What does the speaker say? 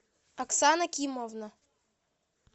оксана кимовна